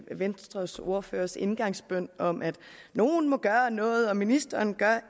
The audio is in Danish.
venstres ordførers indgangsbøn om at nogle må gøre noget og ministeren